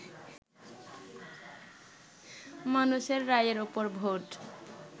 মানুষের রায়ের ওপর ভোট